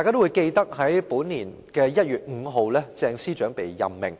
在本年1月5日，鄭司長獲任命。